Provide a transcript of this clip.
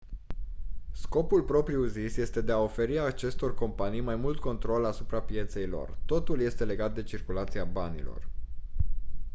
scopul propriu-zis este de a oferi acestor companii mai mult control asupra pieței lor totul este legat de circulația banilor